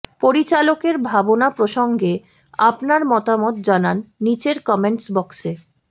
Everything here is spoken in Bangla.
পরিচালকের ভাবনা প্রসঙ্গে আপনার মতামত জানান নীচের কমেন্টস বক্সে